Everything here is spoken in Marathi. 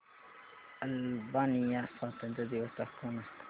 अल्बानिया स्वातंत्र्य दिवस दाखव ना